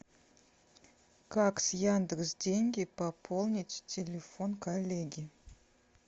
как с яндекс деньги пополнить телефон коллеги